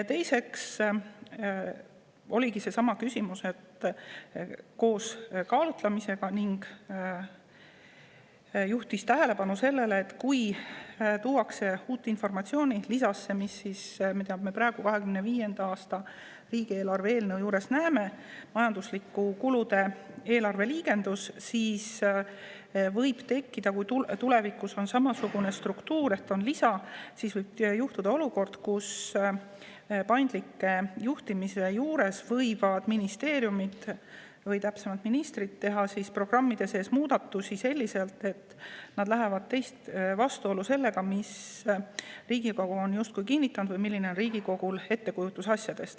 Teiseks oligi seesama küsimus: juhiti tähelepanu sellele, et kui tuuakse uut informatsiooni lisasse, mida me praegu 2025. aasta riigieelarve eelnõu juures näeme, see on majandusliku kulu järgi eelarve liigendus, siis võib tulevikus tekkida olukord – juhul kui on samasugune struktuur, et eelarvel on lisa –, kus paindliku juhtimise korral võivad ministeeriumid, täpsemalt öeldes ministrid teha programmide sees muudatusi, mis lähevad vastuollu Riigikogu ettekujutusega asjadest.